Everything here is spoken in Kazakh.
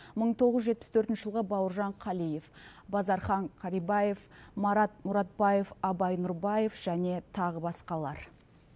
мың тоғыз жүз жетпіс төртінші жылғы бауыржан қалиев базархан карибаев марат мұратбаев абай нұрбаев және тағы басқалар